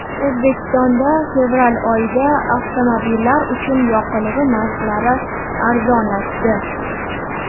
O‘zbekistonda fevral oyida avtomobillar uchun yoqilg‘i narxlari arzonlashdi.